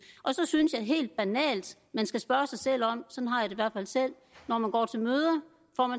og så synes jeg helt banalt man skal spørge sig selv om man når man går til møder